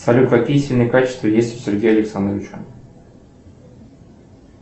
салют какие сильные качества есть у сергея александровича